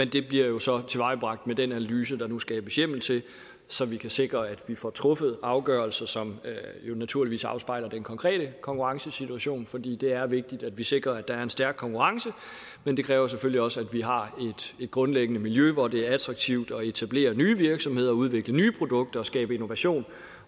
det bliver jo så tilvejebragt med den analyse der nu skabes hjemmel til så vi kan sikre at vi får truffet afgørelser som jo naturligvis afspejler den konkrete konkurrencesituation for det er vigtigt at vi sikrer at der er en stærk konkurrence men det kræver selvfølgelig også at vi har et grundlæggende miljø hvor det er attraktivt at etablere nye virksomheder og udvikle nye produkter og skabe innovation